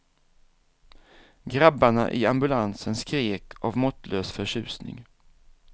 Grabbarna i ambulansen skrek av måttlös förtjusning.